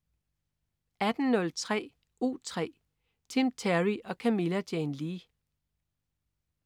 18.03 U3. Tim Terry og Camilla Jane Lea